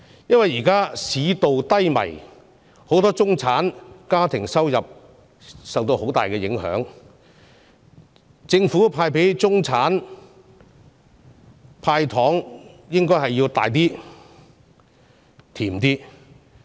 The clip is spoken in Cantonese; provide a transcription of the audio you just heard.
現時市道低迷，很多中產家庭的收入受到很大影響，政府應該向中產派大一點、甜一點的"糖"。